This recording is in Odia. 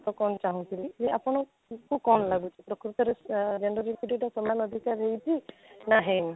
ମତ କ'ଣ ଚାହୁଁଥିଲି ଯେ ଆପଣଙ୍କୁ କ'ଣ ଲାଗୁଛି ପ୍ରକୃତରେ ଆଁ gender equity ଟା ସମାନ ଅଧିକାର ହେଇଛି ନା ହେଇନି?